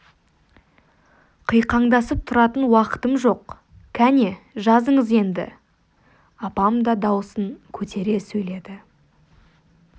қиқаңдасып тұратын уақытым жоқ кәне жазыңыз енді апам да даусын көтере сөйледі